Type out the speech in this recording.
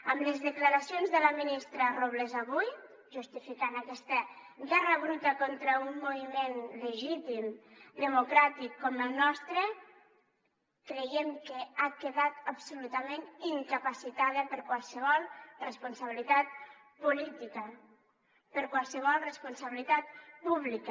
amb les declaracions de la ministra robles avui justificant aquesta guerra bruta contra un moviment legítim democràtic com el nostre creiem que ha quedat absolutament incapacitada per a qualsevol responsabilitat política per a qualsevol responsabilitat pública